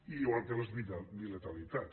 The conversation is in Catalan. igual que les bilateralitats